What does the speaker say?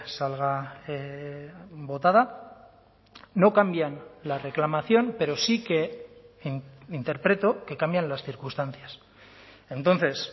salga votada no cambian la reclamación pero sí que interpreto que cambian las circunstancias entonces